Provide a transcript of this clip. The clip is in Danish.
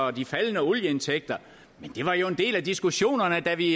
af de faldende olieindtægter men det var jo en del af diskussionerne da vi